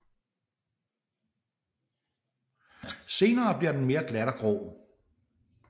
Senere bliver den mere glat og grå